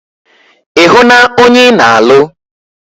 Ì hụ na ònye ị na alụ?